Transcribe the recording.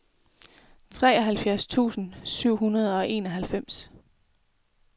treoghalvfjerds tusind syv hundrede og enoghalvfems